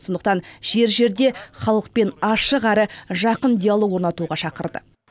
сондықтан жер жерде халықпен ашық әрі жақын диалог орнатуға шақырды